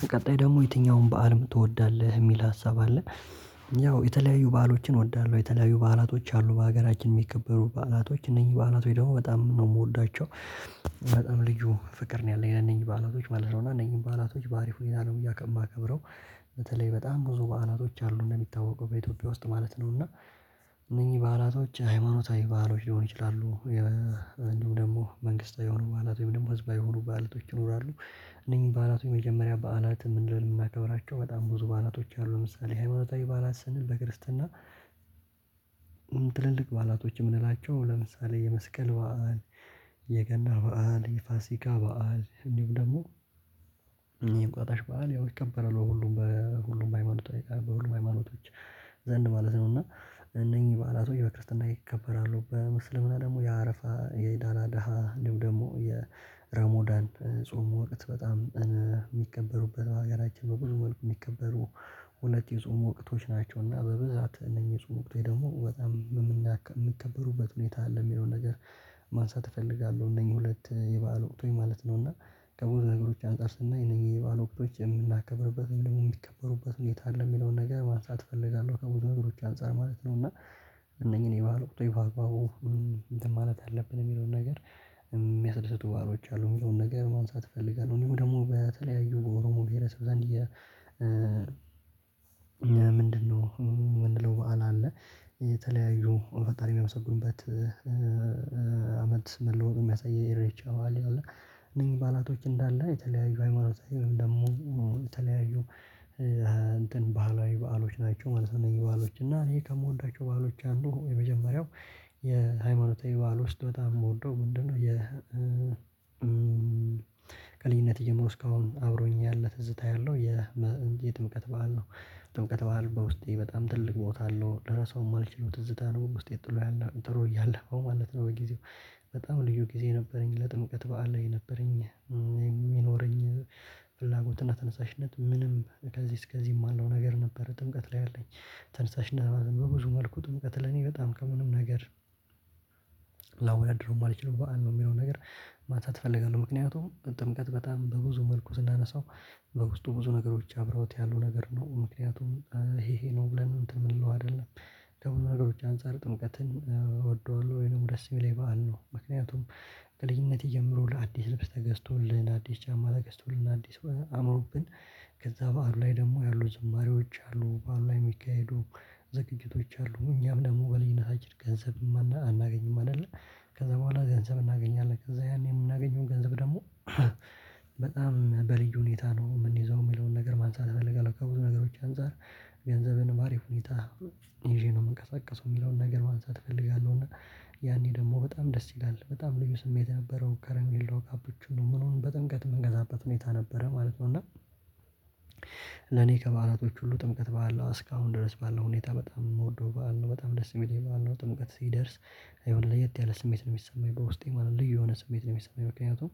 በቀጣይ ደግሞ የትኛውን በዓል ትወዳለህ የሚል ሀሳብ አለ? ያው የተለያዩ በዓሎችን እወዳለሁ የተለያዩ በዓላቶች አሉ በሀገራችን የሚከበሩ በዓላቶች እነኚህ በዓላት ወይ ደግሞ በጣም ነው የምወዳቸው። በጣም ልዩ ፍቅር ነው ያለው ለነኚህ በዓላቶች ማለት ነው እና እነኚህን በዓላቶች በአሪፍ ሁኔታ ነው እያከ ማከብረው። በተለይ በጣም ብዙ በዓላቶች አሉ እንደሚታወቀው በኢትዮጵያ ውስጥ ማለት ነው እና። እነኚህ በዐላቶች ሃይማኖታዊ ባህሎች ሊሆኑ ይችላሉ። እንዲሁም ደግሞ መንግስታዊ የሆኑ በዓላት ወይም ደግሞ ህዝባዊ የሆኑ በዓላቶች ይኖራሉ። እነኚህ በዓላቶች የመጀመሪያ በዓላት ምንድነው? የሚያከብራቸው በጣም ብዙ በዓላቶች አሉ ለምሳሌ ሃይማኖታዊ በዓላት ስንል በክርስትና። በዓላቶች የምንላቸው ለምሳሌ የመስቀል በዓል። የገና በዓል የፋሲካ በዓል እንዲሁም ደግሞ የእንቁጣጣሽ በዓል ያው ይከበራል በሁሉም በሁሉም ሃይማኖት በሁሉም ሃይማኖቶች። ዘንድ ማለት ነው እና። እነኚህ በዓላቶች በክርስትና ይከበራሉ በእስልምና ደግሞ የአረፋ የኢድ አል አድሃ እንዲሁ ደግሞ። የረሞዳን ጾም ወቅት በጣም የሚከበሩበት በሀገራችን በብዙ መልኩ የሚከበሩ ሁለት የጾም ወቅቶች ናቸውና በብዛት እነኚህ የጾም ወቅት ላይ ደግሞ በጣም የምንከበሩበት ሁኔታ አለ የሚለውን ነገር። ማንሳት እፈልጋለሁ። እነኚህ ሁለት የበአል ወቅቶች ማለት ነው እና። ከብዙ ነገሮች አንፃር ስናይ እነኚህ የበአል ወቅቶች የምናከብርበት ደግሞ የሚከበሩበት ሁኔታ አለ የሚለውን ነገር ማንሳት እፈልጋለሁ። ከብዙ ነገሮች አንፃር ማለት ነው እና። እነኚህን የበአል ወቅቶች ባግባቡ እንትን ማለት አለብን የሚለውን ነገር። የሚያስደስቱ በዓሎች አሉ የሚለውን ነገር ማንሳት እፈልጋለሁ። እንዲሁም ደግሞ በተለያዩ ኦሮሞ ብሄረሰብ ዘንድ። የ ምንድነው? ምንድነው በዓል አለ። የተለያዩ ፈጣሪን ያመሰግኑበት። አመት መለወጥ የሚያሳይ የኢሬቻ በዓል አለ። እነኚህ በዓላቶች እንዳለ የተለያዩ ሃይማኖታዊ ደግሞ። የተለያዩ እንትን ባህላዊ በዓሎች ናቸው። እነኚህ በዓሎች እና ይሄ ከምወዳቸው በዓሎች አንዱ የመጀመሪያው። የሃይማኖታዊ በዓል ዉስጥ በጣም የምወደው ምንድነው? የ ከልጅነት ጀምሮ እስካሁን አብሮኝ ያለ ትዝታ ያለው የጥምቀት በዓል ነው። ጥምቀት በዓል በውስጤ በጣም ትልቅ ቦታ አለው ልረሳው የማልችለው ትዝታ ነው። ውስጤ ጥሎ ያለው ጥሎ ያለፈው ማለት ነው። በጊዜው በጣም ልዩ ጊዜ ነበረኝ ለጥምቀት በዓል ላይ ነበረኝ። የሚኖረኝ ፍላጎትና ተነሳሽነት ምንም ከዚህ እስከዚህ የማለው ነገር ነበር ጥምቀት ላይ አለኝ። ተነሳሽነት ነበር በብዙ መልኩ ጥምቀት ለኔ በጣም ከምንም ነገር። ላወዳድረው የማልችለው በዓል ነው። የሚለው ነገር ማንሳት እፈልጋለሁ። ምክንያቱም ጥምቀት በጣም በብዙ መልኩ ስናነሳው። በውስጡ ብዙ ነገሮች አብረውት ያለው ነገር ነው ምክንያቱም። ይሄ ይሄ ነው ብለን እንትን የምንለው አይደለም። ደግሞ ነገሮች አንፃር ጥምቀትን እወደዋለሁ ወይንም ደስ የሚለኝ የበአል ነው። ምክንያቱም። ከልጅነቴ ጀምሮ ለአዲስ ልብስ ተገዝቶልን ለአዲስ ጫማ ተገዝቶልን አዲስ አምሮብን። ከዛ በዓሉ ላይ ደግሞ ያሉ ዝማሬዎች አሉ በዓሉ ላይ የሚካሄዱ ዝግጅቶች አሉ እኛም ደግሞ በልጅነታችን ገንዘብም አናገኝም አይደለ። ከዛ በኋላ ገንዘብ እናገኛለን ከዛ ያኔ የምናገኘውን ገንዘብ ደግሞ። በጣም በልዩ ሁኔታ ነው የምንይዘው የሚለውን ነገር ማንሳት እፈልጋለሁ። ከብዙ ነገሮች አንፃር። ገንዘብን አሪፍ ሁኔታ ይዤ ነው የምንቀሳቀሰው የሚለውን ነገር ማንሳት እፈልጋለሁ። እና። ያኔ ደግሞ በጣም ደስ ይላል በጣም ልዩ ስሜት ነበረው ከረሜላው ካፑቹኖ ምኑም በጥምቀት የምንገዛበት ሁኔታ ነበረ ማለት ነው እና። ለኔ ከበዓላቶች ሁሉ ጥምቀት በዓል እስካሁን ድረስ ባለው ሁኔታ በጣም የምወደው በዓል ነው። በጣም ደስ የሚለኝ በዓል ነው። ጥምቀት ሲደርስ። የሆነ ለየት ያለ ስሜት ነው የሚሰማኝ በውስጤ ማለት ልዩ የሆነ ስሜት ነው የሚሰማኝ። ምክንያቱም።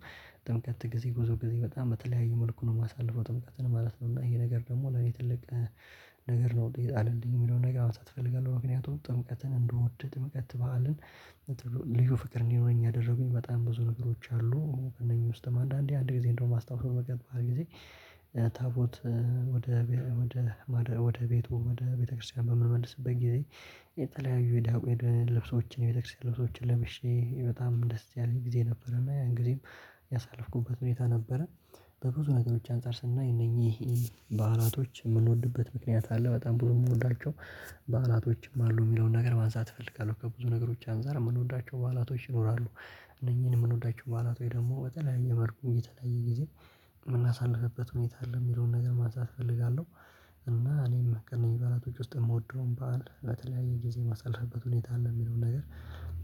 ጥምቀት ጊዜ ብዙ ጊዜ በጣም በተለያዩ መልኩ ነው የማሳልፈው ጥምቀት ነው ማለት ነው። ይሄ ነገር ደግሞ ለኔ ትልቅ። ነገር ነው የጣለልኝ የሚለውን ነገር ማንሳት እፈልጋለሁ። ምክንያቱም ጥምቀትን እንድወድ ጥምቀት በዓልን። ልዩ ፍቅር እንዲኖረኝ ያደረጉኝ በጣም ብዙ ነገሮች አሉ። እነኚህ ውስጥም አንዳንዴ አንድ ጊዜ እንደውም ማስታውሰው በቅርብ ጊዜ። ታቦት ወደ ወደ ወደ ማደርያው ወደ ቤቱ ወደ ቤተክርስቲያን በምንመልስበት ጊዜ። የተለያዩ የዳቆይ ልብሶችን የቤተክርስቲያን ልብሶችን ለብሼ በጣም ደስ ያለኝ ጊዜ ነበረና እንግዲህ ያሳለፍኩበት ሁኔታ ነበረ። በብዙ ነገሮች አንፃር ስናይ እነኚህ። በዓላቶች የምንወድበት ምክንያት አለ በጣም ብዙ የምወዳቸው በአላቶችም አሉ የሚለውን ነገር ማንሳት እፈልጋለሁ። ከብዙ ነገሮች አንፃር የምንወዳቸው በዓላቶች ይኖራሉ። እነኚህን የምንወዳቸው በዓላት ወይ ደግሞ በተለያየ መልኩ የተለያየ ጊዜ። የምናሳልፍበት ሁኔታ አለ የሚለውን ነገር ማንሳት እፈልጋለሁ። እና እኔም ከእነኚህ በዓላቶች ውስጥ የምወደውን በዓል በተለያየ ጊዜ ማሳለፍበት ሁኔታ ነው የሚለውን ነገር።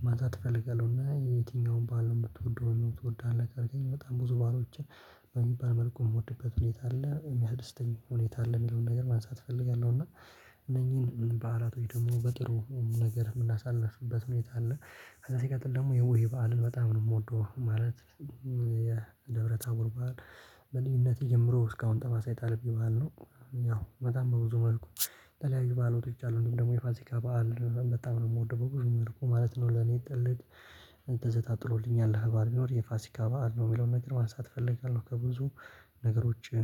ማንሳት እፈልጋለሁ። እና የትኛውን በዓል ነው የምትወደው ትወዳለህ አለ ካልከኝ በጣም ብዙ በዓሎችን። በሚባል መልኩ የምወድበት ሁኔታ አለ የሚያደስተኝ ሁኔታ አለ የሚለውን ነገር ማንሳት እፈልጋለሁ። እና። እነኚህን በዓላቶች ወይ ደግሞ በጥሩ ነገር የምናሳልፍበት ሁኔታ አለ። ከዛ ሲቀጥል ደግሞ የቡሄ በዓልን በጣም ነው የምወደው ማለት። የደብረ ታቦር በዓል። በልጅነቴ ጀምሮ እስካሁን ጠባሳ የጣለብኝ በዓል ነው። ያው በጣም በብዙ መልኩ። የተለያዩ በዓላቶች አሉ እንዲሁም ደግሞ የፋሲካ በዓል በጣም ነው የምወደው በብዙ መልኩ ማለት ነው። ለኔ ትልቅ። ትዝታ ጥሎልኝ ያለፈ በዓል ቢኖር የፋሲካ በዓል ነው የሚለውን ነገር ማንሳት እፈልጋለሁ። ከብዙ ነገሮች